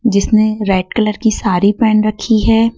जिसने red colour की सारी पहेन रखी है।